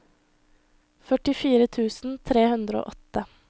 førtifire tusen tre hundre og åtte